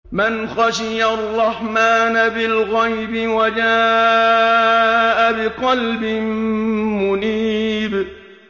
مَّنْ خَشِيَ الرَّحْمَٰنَ بِالْغَيْبِ وَجَاءَ بِقَلْبٍ مُّنِيبٍ